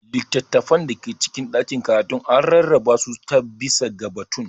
Littattafan da ke cikin ɗakin karatu an rarraba su ta/bisa ga batun.